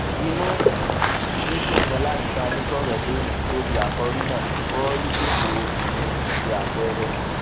inú um mi dùn ganan láti bá yín sòrò lónìí lórí àkòrí náà bọọlùṣètò obìnrin ṣíṣe àpẹẹrẹ